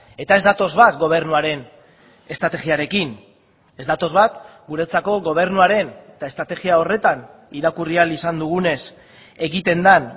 eta ez datoz bat gobernuaren estrategiarekin ez datoz bat guretzako gobernuaren eta estrategia horretan irakurri ahal izan dugunez egiten den